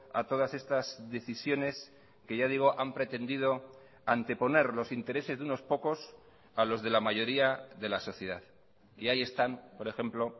a todas estas decisiones que ya digo han pretendido anteponer los intereses de unos pocos a los de la mayoría de la sociedad y ahí están por ejemplo